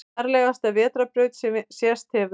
Fjarlægasta vetrarbraut sem sést hefur